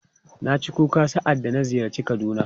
Na ci kuka sa'adda na ziyarci Kaduna.